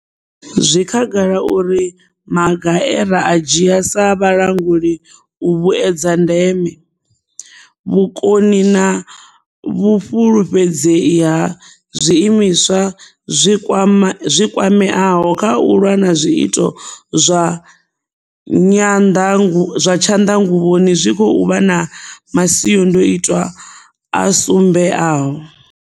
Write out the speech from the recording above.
Zwi khagala uri maga e ra a dzhia sa vhalanguli u vhuedza ndeme, vhukoni na vhufhulufhedzei ha zwiimiswa zwi kwameaho kha u lwa na zwiito zwa tshanḓanguvhoni zwi khou vha na masiandoitwa a sumbeaho.